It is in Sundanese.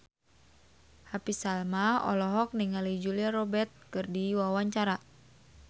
Happy Salma olohok ningali Julia Robert keur diwawancara